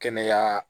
Kɛnɛya